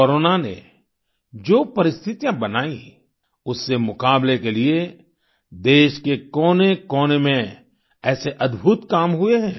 corona ने जो परिस्थितियां बनाईं उससे मुकाबले के लिए देश के कोनेकोने में ऐसे अद्भुत काम हुए हैं